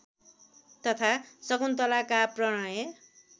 तथा शकुन्तलाका प्रणय